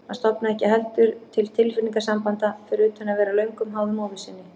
Hann stofnaði ekki heldur til tilfinningasambanda, fyrir utan að vera löngum háður móður sinni.